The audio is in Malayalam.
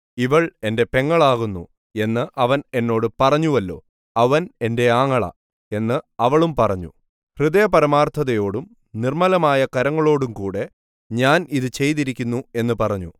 ഇവൾ എന്റെ പെങ്ങളാകുന്നു എന്ന് അവൻ എന്നോട് പറഞ്ഞുവല്ലോ അവൻ എന്റെ ആങ്ങള എന്ന് അവളും പറഞ്ഞു ഹൃദയപരമാർത്ഥതയോടും നിർമ്മലമായ കരങ്ങളോടും കൂടെ ഞാൻ ഇത് ചെയ്തിരിക്കുന്നു എന്നു പറഞ്ഞു